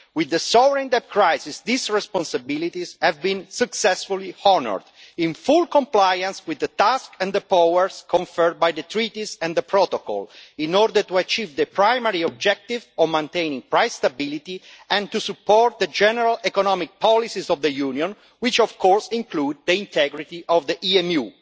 With the soaring debt crisis these responsibilities have been successfully honoured in full compliance with the task and the powers conferred by the Treaties and the Protocol in order to achieve the primary objective of maintaining price stability and to support the general economic policies of the Union, which of course include the integrity of the EMU.